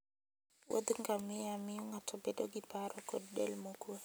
wuodh ngamia miyo ng'ato bedo gi paro kod del mokwe.